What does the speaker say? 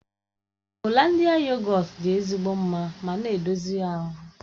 Holandịa yogọt dị ezigbo mma ma na-edozi ahụ.